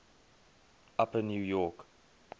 upper new york